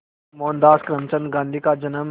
मोहनदास करमचंद गांधी का जन्म